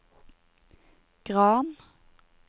Gran